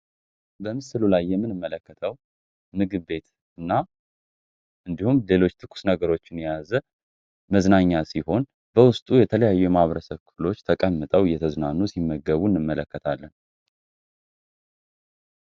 በምስሉ ላይ ምንመለከተው ምግብ ቤት ሲሆን ሰዎች እንዲሁም ሌሎች ነገሮች መዝናኛ ሲሆን በውስጡ የተለያዩ ማህበረሰብ ክፍሎች ተቀመጠውን እንመለከታለን።